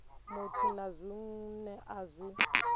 muthu na zwine a zwi